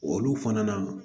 Olu fana